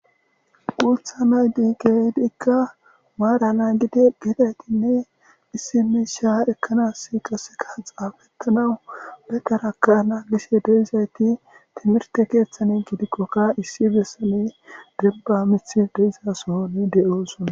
Guutha nayti keehidika maara nagidi gede gine issi miisha ekanasika qaseka xafetanawu be taraka nagishe de'izayti timrte keethani gidikoka issi besan demba mithy de'iza sohon de'osona.